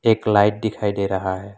एक लाइट दिखाई दे रहा है।